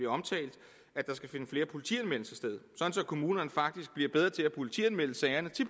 omtalt at der skal finde flere politianmeldelser sted at kommunerne faktisk bliver bedre til at politianmelde sagerne